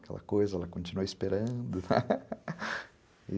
Aquela coisa, ela continuou esperando,